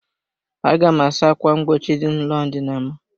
Aga m asa ákwà mgbochi dị n'ụlọ ndina m.